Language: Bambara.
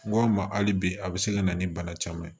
N go n ma hali bi a bi se ka na ni bana caman ye